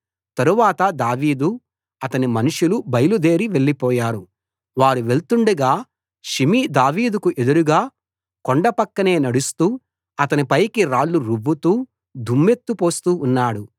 తరువాత దావీదు అతని మనుషులు బయలుదేరి వెళ్ళిపోయారు వారు వెళ్తుండగా షిమీ దావీదుకు ఎదురుగా కొండ పక్కనే నడుస్తూ అతని పైకి రాళ్లు రువ్వుతూ దుమ్మెత్తి పోస్తూ ఉన్నాడు